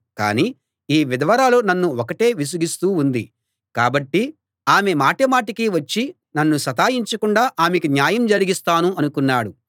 కానీ ఈ విధవరాలు నన్ను ఒకటే విసిగిస్తూ ఉంది కాబట్టి ఆమె మాటిమాటికీ వచ్చి నన్ను సతాయించకుండా ఆమెకి న్యాయం జరిగిస్తాను అనుకున్నాడు